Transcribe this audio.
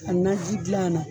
A nanji gilan na.